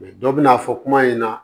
dɔ bɛ na fɔ kuma in ɲɛna